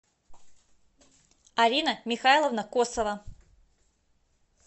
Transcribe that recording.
арина михайловна косова